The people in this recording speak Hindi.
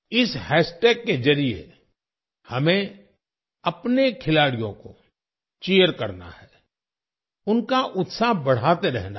इस हैशटैग के जरिए हमें अपने खिलाड़ियों को चीर करना है उनका उत्साह बढ़ाते रहना है